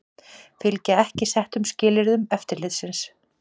Fylgja ekki settum skilyrðum eftirlitsins